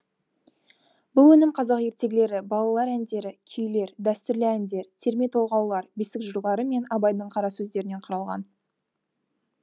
бұл өнім қазақ ертегілері балалар әндері күйлер дәстүрлі әндер терме толғаулар бесік жырлары мен абайдың қара сөздерінен құралған